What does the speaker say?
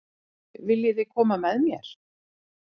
Viljiði koma með mér?